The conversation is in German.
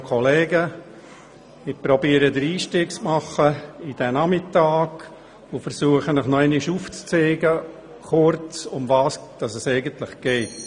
Ich versuche den Einstieg in diesen Nachmittag zu machen und Ihnen noch einmal kurz aufzuzeigen, worum es hier geht.